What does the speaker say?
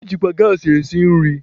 Ejikwa gaasị esi nri.